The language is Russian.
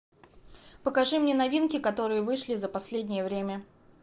покажи мне новинки которые вышли за последнее время